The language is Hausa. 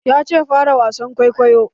Yace "Fara wasan kwaikwayon"!